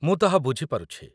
ମୁଁ ତାହା ବୁଝି ପାରୁଛି।